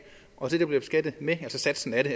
og det du bliver beskattet med altså satsen af det